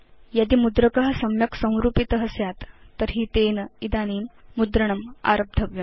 यदि मुद्रक सम्यक् संरूपित स्यात् तर्हि तेन इदानीं मुद्रणम् आरब्धव्यम्